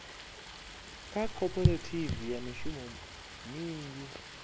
kha khophorethivi ya mishumo minzhi